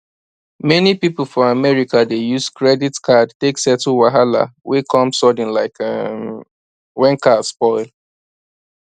many people for america dey use credit card take settle wahala wey come sudden like um when car spoil